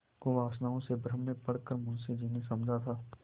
कुवासनाओं के भ्रम में पड़ कर मुंशी जी ने समझा था